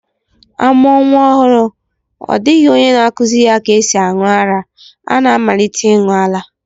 A mụo nwa ọhụru, ọ dịghị onye na-akụziri ha ka e si aṅụ ara, ha na-amalite ịṅụ ara